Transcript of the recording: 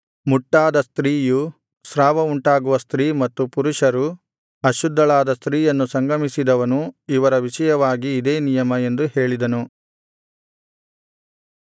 ಮುಟ್ಟಾದ ಸ್ತ್ರೀಯು ಸ್ರಾವವುಂಟಾಗುವ ಸ್ತ್ರೀ ಮತ್ತು ಪುರುಷರು ಅಶುದ್ಧಳಾದ ಸ್ತ್ರೀಯನ್ನು ಸಂಗಮಿಸಿದವನು ಇವರ ವಿಷಯವಾಗಿ ಇದೇ ನಿಯಮ ಎಂದು ಹೇಳಿದನು